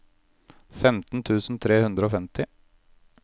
femten tusen tre hundre og femti